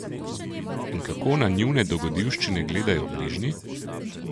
In kako na njune dogodivščine gledajo bližnji?